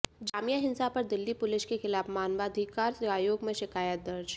जामिया हिंसा पर दिल्ली पुलिस के खिलाफ मानवाधिकार आयोग में शिकायत दर्ज